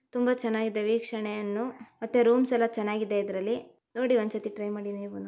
ತುಂಬಾ ಚೆನ್ನಾಗಿದೆ ವೀಕ್ಷಣೆಯನ್ನು ಮತ್ತೆ ರೂಮ್ಸ್ ಎಲ್ಲಾ ಚೆನ್ನಾಗಿದೆ ಇದರಲ್ಲಿ ನೋಡಿ ಒಂದ್ಸರ್ತಿ ಟ್ರೈ ಮಾಡಿ ನೀವುನು.